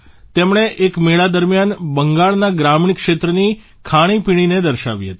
તેમણે એક મેળા દરમ્યાન બંગાળના ગ્રામીણ ક્ષેત્રની ખાણી પીણીને દર્શાવી હતી